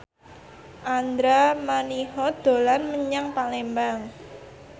Andra Manihot dolan menyang Palembang